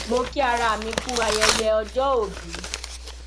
mo kí ara mi kú ayẹyẹ ọjọòbí